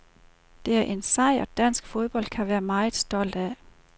Det er en sejr, dansk fodbold kan være meget stolt af.